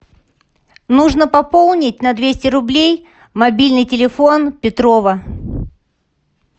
нужно пополнить на двести рублей мобильный телефон петрова